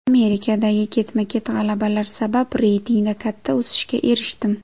Amerikadagi ketma-ket g‘alabalar sabab reytingda katta o‘sishga erishdim.